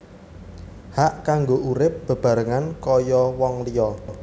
Hak kanggo urip bebarengan kaya wong liya